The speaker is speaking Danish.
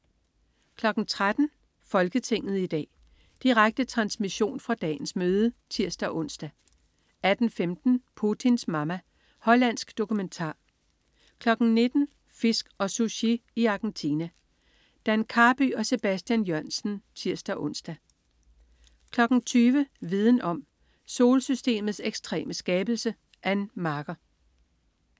13.00 Folketinget i dag. Direkte transmission fra dagens møde (tirs-ons) 18.15 Putins Mama. Hollandsk dokumentar 19.00 Fisk og Sushi i Argentina. Dan Karby og Sebastian Jørgensen (tirs-ons) 20.00 Viden om: Solsystemets ekstreme skabelse. Ann Marker